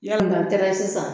Yanni ka tɛrɛsi san